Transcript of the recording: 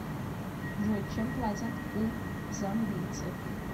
джой чем платят у замбийцев